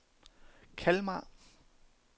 Kalmar